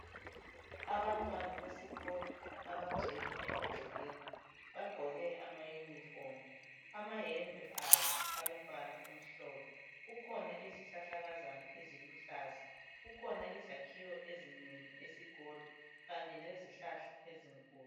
Abantwana besikolo abagcwele emagcekeni. Bagqoke amayunifomu amayembe abo alombala omhlophe. Kukhona izihlahlakazana eziluhlaza, kukhona izakhiwo ezinengi esikolo kanye lezahlahla ezinkulu.